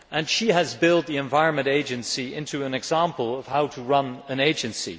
She has built the Environment Agency into an example of how to run an agency.